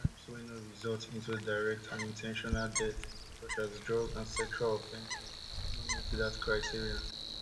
crimes wey no result into direct and in ten tional death such as drug and sexual offences no meet dat criteria